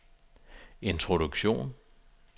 introduktion